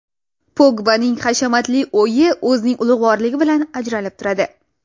Pogbaning hashamatli o‘yi o‘zining ulug‘vorligi bilan ajralib turadi.